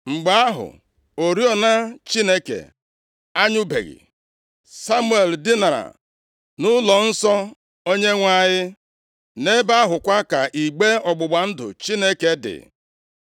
Mgbe ahụ, oriọna + 3:3 Oriọna dị nʼebe nsọ ahụ kwesiri ị na-enwu ọkụ ehihie na abalị ọbụla. \+xt Ọpụ 27:20-21; 30:7-8\+xt* Ọ bụ nʼisi ụtụtụ tupu chi abọọ ka ihe a mere. Chineke anyụbeghị, Samuel dinara nʼụlọnsọ Onyenwe anyị, nʼebe ahụkwa ka igbe ọgbụgba ndụ Chineke dị.